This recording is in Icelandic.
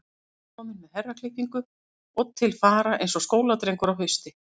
Hann var kominn með herraklippingu og til fara eins og skóladrengur á hausti.